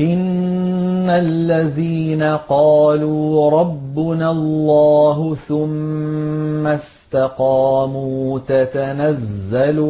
إِنَّ الَّذِينَ قَالُوا رَبُّنَا اللَّهُ ثُمَّ اسْتَقَامُوا تَتَنَزَّلُ